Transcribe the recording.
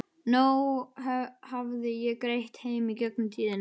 Nóg hafði ég greitt heim í gegnum tíðina.